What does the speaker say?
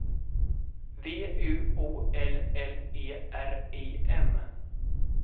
V U O L L E R I M